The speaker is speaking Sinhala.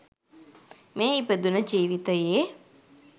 මේ ඉපදුණ ජීවිතයේ